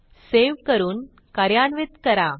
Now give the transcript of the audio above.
save करून कार्यान्वित करा